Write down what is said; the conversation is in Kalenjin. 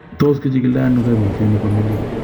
Tos kichikildo ono koimutioni bo melik?